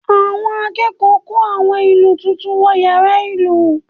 Àwọn akẹ́kọ̀ọ́ kó àwọn ìlù tuntun wọ yàrá ìlù